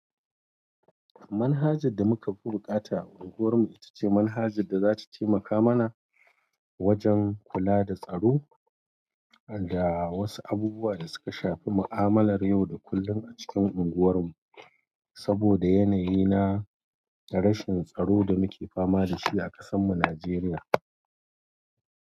Manhajar da muka fi bukata a unguwarmu ita ce manhajar da za ta taimaka mana wajen kula da tsaro da wasu abubuwa da suka shafi mu'amalar yau da kullum a cikin unguwarmu. Saboda yanayi na rashin tsaro da muke fama da shi a ƙasanmu Najeriya.